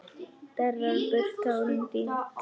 Þerrar burt tárin þín.